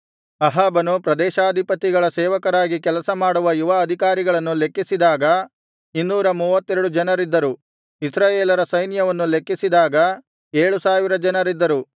ಅಹಾಬನು ಪ್ರದೇಶಾಧಿಪತಿಗಳ ಸೇವಕರಾಗಿ ಕೆಲಸ ಮಾಡುವ ಯುವ ಅಧಿಕಾರಿಗಳನ್ನು ಲೆಕ್ಕಿಸಿದಾಗ ಇನ್ನೂರ ಮೂವತ್ತೆರಡು ಜನರಿದ್ದರು ಇಸ್ರಾಯೇಲರ ಸೈನ್ಯವನ್ನು ಲೆಕ್ಕಿಸಿದಾಗ ಏಳು ಸಾವಿರ ಜನರಿದ್ದರು